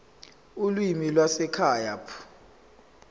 ulimi lwasekhaya p